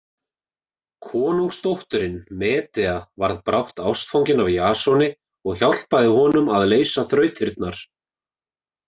Konungsdóttirin Medea varð brátt ástfangin af Jasoni og hjálpaði honum að leysa þrautirnar.